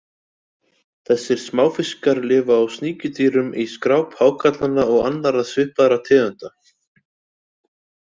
Þessir smáfiskar lifa á sníkjudýrum á skráp hákarlanna og annarra svipaðra tegunda.